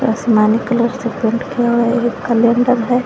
आसमानी कलर से पेंट किया गया कैलेंडर है।